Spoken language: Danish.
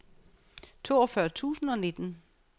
toogfyrre tusind og nitten